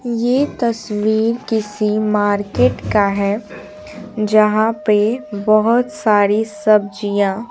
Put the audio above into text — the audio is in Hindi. यह तस्वीर किसी मार्केट का है जहां पे बहुत सारी सब्जियां--